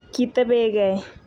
Kitebekei